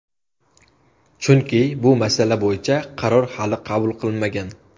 Chunki bu masala bo‘yicha qaror hali qabul qilinmagan.